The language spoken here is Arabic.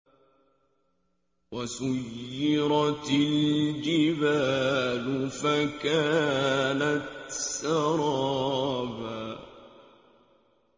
وَسُيِّرَتِ الْجِبَالُ فَكَانَتْ سَرَابًا